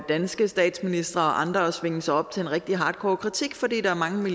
danske statsministre og andre at svinge sig op til en rigtig hardcore kritik fordi der er mange